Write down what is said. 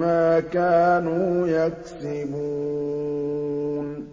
مَّا كَانُوا يَكْسِبُونَ